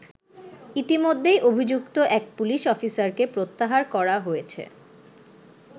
ইতিমধ্যেই অভিযুক্ত এক পুলিশ অফিসারকে প্রত্যাহার করা হয়েছে।